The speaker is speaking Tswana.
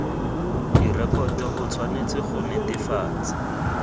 direkoto o tshwanetse go netefatsa